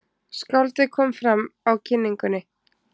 Skáldið kom fram á kynningunni.